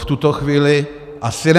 V tuto chvíli asi ne.